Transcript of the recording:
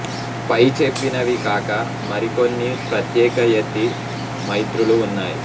పై చెప్పినవి కాక మరికొన్ని ప్రత్యేక యతి మైత్రులు ఉన్నాయి